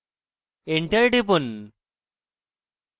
enter টিপুন